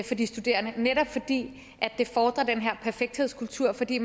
for de studerende netop fordi det fordrer den her perfekthedskultur fordi